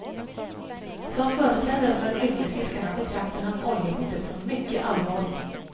Som företrädare för yrkesfiskarna betraktar han oljehotet som mycket allvarligt.